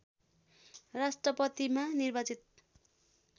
राष्ट्रपतिमा निर्वाचित